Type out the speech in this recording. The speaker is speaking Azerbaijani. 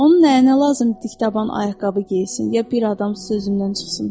Onun nəyinə lazımdır dik taban ayaqqabı geyinsin, ya bir adam sözümdən çıxsın?